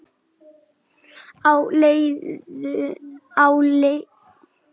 Á leiðinu hans Lása?